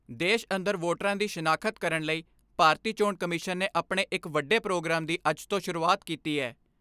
ਦੇਸ਼ ਅੰਦਰ ਵੋਟਰਾਂ ਦੀ ਸ਼ਿਨਾਖਤ ਕਰਣ ਲਈ ਭਾਰਤੀ ਚੋਣ ਕਮਿਸ਼ਨ ਨੇ ਆਪਣੇ ਇੱਕ ਵੱਡੇ ਪ੍ਰੋਗਰਾਮ ਦੀ ਅੱਜ ਤੋਂ ਸ਼ੁਰੂਆਤ ਕੀਤੀ ਹੈ।